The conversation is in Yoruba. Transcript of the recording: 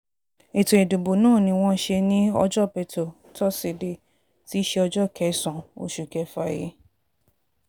ètò ìdìbò náà ni wọ́n ṣe ní ọjọ́bẹ̀tò tósídéé tí í ṣe ọjọ́ kẹsàn-án oṣù kéfà yìí